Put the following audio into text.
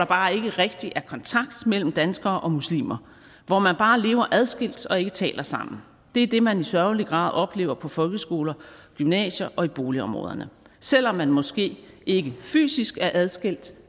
bare ikke rigtig er kontakt mellem danskere og muslimer hvor man bare lever adskilt og ikke taler sammen det er det man i sørgelig grad oplever på folkeskoler gymnasier og i boligområderne selv om man måske ikke fysisk er adskilt